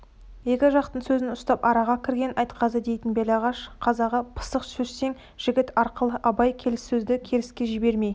екі жақтың сөзін ұстап араға кірген айтқазы дейтін белағаш қазағы пысық сөзшең жігіт арқылы абай келіссөзді керіске жібермей